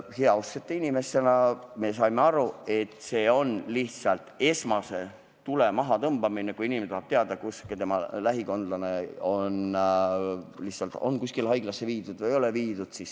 Heausksete inimestena saime aru, et see on lihtsalt esmase tule kustutamine, kui inimene tahab teada, kus tema lähikondlane on – on ta kuskile haiglasse viidud või ei ole.